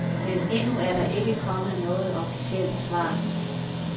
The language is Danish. Men endnu er der ikke kommet noget officielt svar.